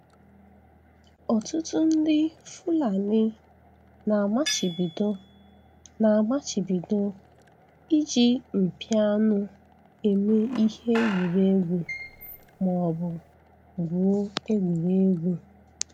Ọtụtụ ndị Fulani na-amachibido na-amachibido iji mpi anụ eme ihe egwuregwu ma ọ bụ gwụo egwuregwu.